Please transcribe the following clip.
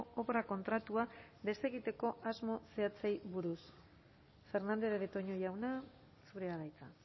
obra kontratua desegiteko asmo zehatzei buruz fernandez de betoño jauna zurea da hitza